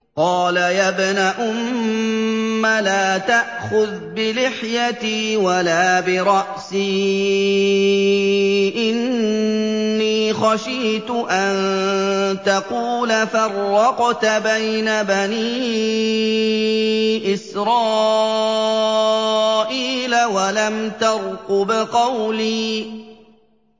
قَالَ يَا ابْنَ أُمَّ لَا تَأْخُذْ بِلِحْيَتِي وَلَا بِرَأْسِي ۖ إِنِّي خَشِيتُ أَن تَقُولَ فَرَّقْتَ بَيْنَ بَنِي إِسْرَائِيلَ وَلَمْ تَرْقُبْ قَوْلِي